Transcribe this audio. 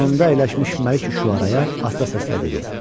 Yanında əyləşmiş Məlik Üşüəraya asta səslə dedi: